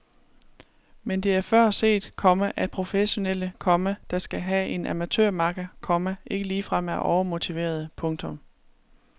Men det er før set, komma at professionelle, komma der skal have en amatørmakker, komma ikke ligefrem er overmotiverede. punktum